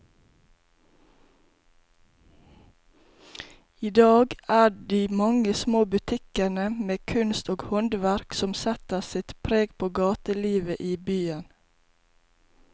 I dag er det de mange små butikkene med kunst og håndverk som setter sitt preg på gatelivet i byen.